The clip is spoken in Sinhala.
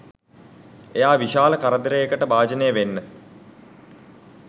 එයා විශාල කරදරයකට භාජනය වෙන්න